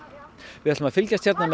við ætlum að fylgjast með